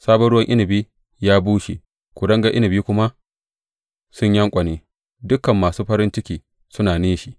Sabon ruwan inabi ya bushe kuringar inabi kuma sun yanƙwane; dukan masu farin ciki suna nishi.